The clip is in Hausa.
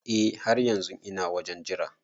Eh har yanzun ina wajen Jira.